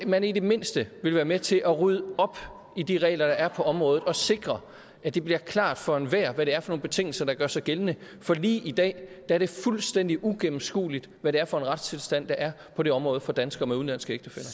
man ikke i det mindste ville være med til at rydde op i de regler der er på området og sikre at det bliver klart for enhver hvad det er for nogle betingelser der gør sig gældende for lige i dag er det fuldstændig uigennemskueligt hvad det er for en retstilstand der er på det område for danskere med udenlandske ægtefæller